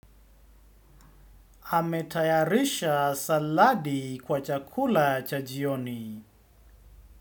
Ametayarisha saladi kwa chakula cha jioni.